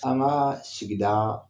An ŋaa sigidaa